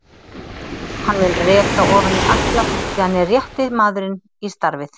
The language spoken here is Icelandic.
Hann mun reka ofan í alla því hann er rétti maðurinn í starfið.